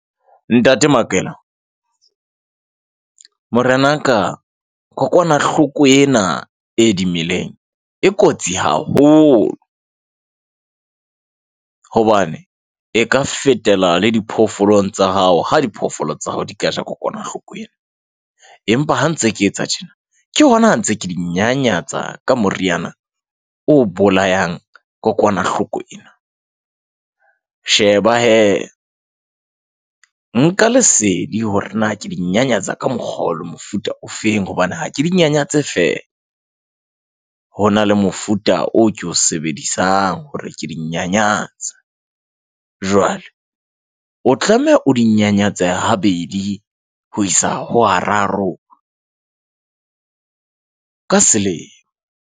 Ntate Makela morenaka kokwanahloko ena e dimeleng e kotsi haholo, hobane e ka fetela le diphoofolong tsa hao, ha diphoofolo tsa hao di ka ja kokwanahloko ena. Empa ha ntse ke etsa tjena ke hona ha ntse ke di nyanyatsa ka moriana o bolayang kokwanahloko ena. Sheba hee, nka lesedi hore na ke di nyanyatsa ka mokgwa o lo mofuta ofeng hobane ha ke di nyanyatse feela. Ho na le mofuta o ko o sebedisang hore ke di nyanyatse. Jwale o tlameha o di nyanyatse ha bedi ho isa ho ha raro ka selemo.